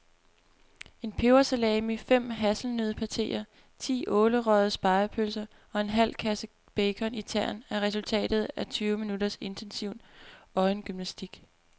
En pebersalami, fem hasselnøddepateer, ti ålerøgede spegepølser og en halv kasse bacon i tern er resultatet af tyve minutters intensiv øjengymnastik.